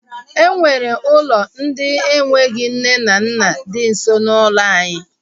E nwere ụlọ ndị enweghị nne na nna di nso n'ụlọ anyị